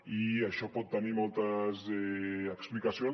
i això pot tenir moltes explicacions